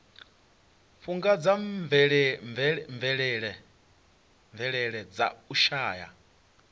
fhungudza mvelele dza u shaea